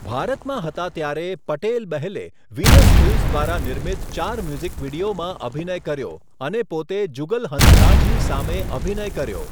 ભારતમાં હતા ત્યારે, પટેલ બહલે વિનસ ફિલ્મ્સ દ્વારા નિર્મિત ચાર મ્યુઝિક વિડિયોમાં અભિનય કર્યો અને પોતે જુગલ હંસરાજની સામે અભિનય કર્યો.